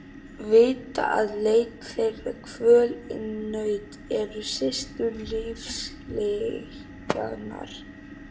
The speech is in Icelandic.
Vita að leit þeirra, kvöl og nautn eru systur lífslyginnar.